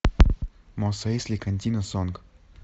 мос эйсли кантина сонг